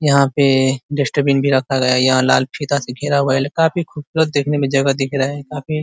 यहाँ पे डस्टबिन भी रखा गया है यहाँ लाल फीता से घेरा हुआ है काफ़ी खूबसूरत देखने में जगह दिख रहा है काफ़ी --